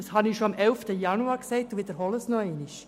Dies habe ich bereits erwähnt, und ich wiederhole es noch einmal.